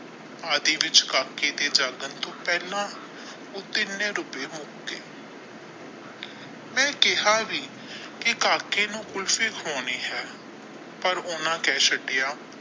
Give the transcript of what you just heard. ਆਦਿ ਵਿਚ ਕਾਕੇ ਤੇ ਜਾਗਣ ਤੋਂ ਪਹਿਲਾ ਉਹ ਤਿੰਨ ਰੁਪਏ ਹੋਣ ਗਏ ਮੈਂ ਕਹਿਆ ਵੀ ਕੀ ਅਮੀਨ ਕਾਕੇ ਨੂੰ ਕੁਲਫੀ ਖਵਾਉਣੀ ਹੈ ਪਰ ਉਹਨਾਂ ਕਹਿ ਛੱਡੀਆ।